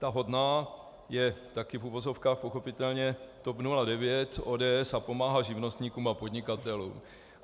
Ta hodná je, také v uvozovkách pochopitelně, TOP 09, ODS a pomáhá živnostníkům a podnikatelům.